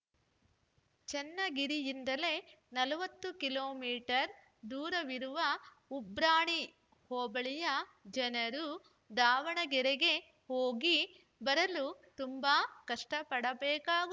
ಚನ್ನಗಿರಿಯಿಂದಲೇ ನಲವತ್ತು kilometre ದೂರವಿರುವ ಉಬ್ರಾಣಿ ಹೋಬಳಿಯ ಜನರು ದಾವಣಗೆರೆಗೆ ಹೋಗಿ ಬರಲು ತುಂಬಾ ಕಷ್ಟಪಡಬೇಕಾಗುತ್